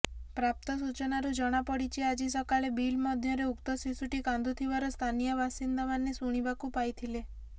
ପ୍ରାପ୍ତ ସୂଚନାରୁ ଜଣାପଡିଛି ଆଜି ସକାଳେ ବିଲ ମଧ୍ୟରେ ଉକ୍ତ ଶିଶୁଟି କାନ୍ଦୁଥିବାର ସ୍ଥାନୀୟ ବାସିନ୍ଦାମାନେ ଶୁଣିବାକୁ ପାଇଥିଲେ